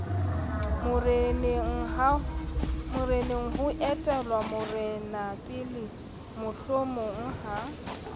morenengha ho etellwa morenapele mohlomongha